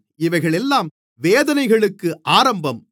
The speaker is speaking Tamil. இவைகளெல்லாம் வேதனைகளுக்கு ஆரம்பம்